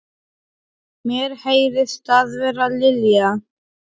Mér heyrist það vera Lilja.